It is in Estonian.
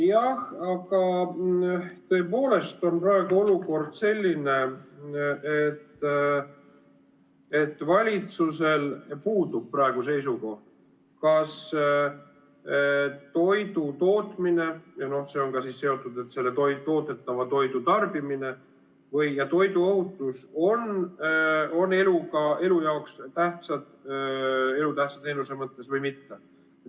Jah, tõepoolest on praegu olukord selline, et valitsusel puudub seisukoht, kas toidutootmine, see on seotud ka toodetava toidu tarbimisega, või ka toiduohutus on elu jaoks tähtsad elutähtsa teenuse mõttes või mitte.